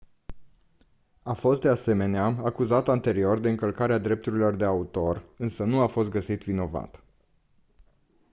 a fost de asemenea acuzat anterior de încălcarea drepturilor de autor însă nu a fost găsit vinovat